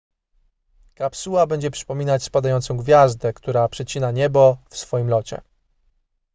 kapsuła będzie przypominać spadającą gwiazdę która przecina niebo w swoim locie